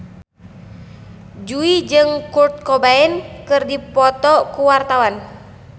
Jui jeung Kurt Cobain keur dipoto ku wartawan